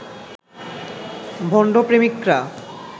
ভণ্ড প্রেমিকরা